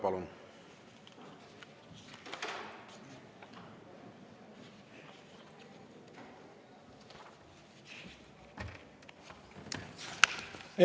Palun!